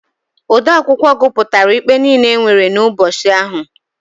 Odeakwụkwọ gụpụtara ikpe niile e nwere n'ubọchị ahụ.